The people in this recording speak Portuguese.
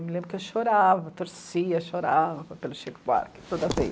Eu me lembro que eu chorava, torcia, chorava pelo Chico Buarque toda vez.